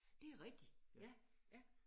Det er rigtigt ja ja